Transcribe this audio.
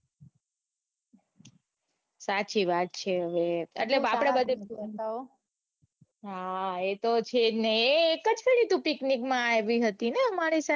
સાચી વાત છે હવે એટલે આપડે બધાયે હા એતો છે જ ને એ એક જ વખતે તું picnic માં આવી હતી ને અમારે સાથે